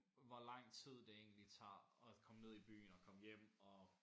Hvor lang tid det egentlig tager at komme ned i byen og komme hjem og